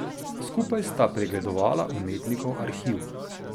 Skupaj sta pregledovala umetnikov arhiv.